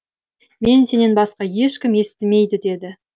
мені сенен басқа ешкім естімейді деді